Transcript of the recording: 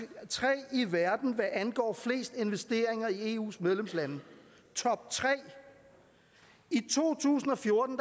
i verden hvad angår flest investeringer i eus medlemslande toptre i to tusind og fjorten